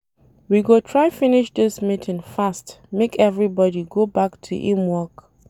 We go try finish dis meeting fast make everybodi go back to im work.